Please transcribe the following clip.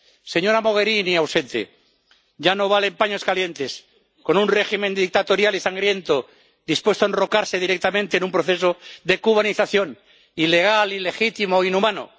Señora Mogherini —ausente—, ya no valen paños calientes con un régimen dictatorial y sangriento, dispuesto a enrocarse directamente en un proceso de cubanización ilegal, ilegitimo e inhumano.